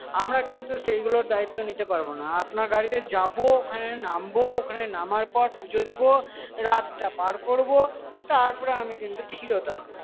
আমরা কিন্তু সেইগুলোর দায়িত্ব নিতে পারবো না আপনার গাড়িতে যাবো ওখানে নামবো ওখানে নামার পর পুজো দেব রাতটা পার করবো তারপর আমি কিন্তু ফিরত আসবো